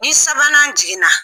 Ni sabanan jiginna